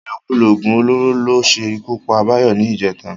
Ìlòkulò ògùn olóró ló ṣe ikú pa Báyọ̀ ní ìjẹta